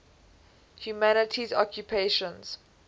humanities occupations